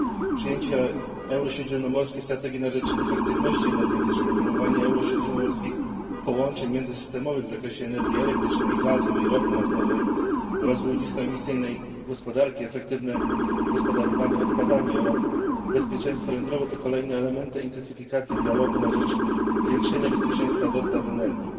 Przyjęcie eurośródziemnomorskiej strategii na rzecz efektywności energetycznej, promowanie eurośródziemnomorskich połączeń międzysystemowych w zakresie energii elektrycznej, gazu i ropy naftowej, rozwój niskoemisyjnej gospodarki, efektywne gospodarowanie odpadami oraz bezpieczeństwo jądrowe, to kolejne elementy intensyfikacji dialogu na rzecz zwiększenia bezpieczeństwa dostaw energii.